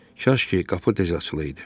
Kaş ki, qapı tez açılırdı.